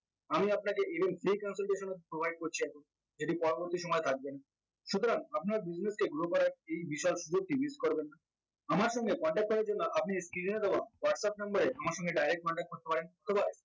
আমি আপনাকে even pay consultation provide করছি এখন যদি পরবর্তী সময়ে কাজে লাগে সুতরাং আপনার business কে grow করার এই বিশাল সুযোগটি miss করবেন না আমার সঙ্গে contact করার জন্য আপনি skinner এ দেওয়া whatsapp number এ আমার সঙ্গে direct contact করতে পারেন অথবা